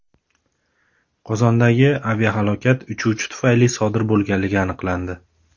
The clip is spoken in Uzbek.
Qozondagi aviahalokat uchuvchi tufayli sodir bo‘lganligi aniqlandi.